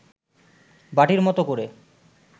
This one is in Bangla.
বাটির মতো করে